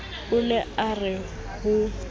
na o ka re ho